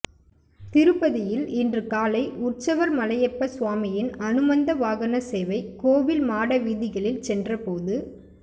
திருப்பதியில் இன்று காலை உற்சவர் மலையப்ப சுவாமியின் அனுமந்த வாகன சேவை கோவில் மாடவீதிகளில் சென்ற போது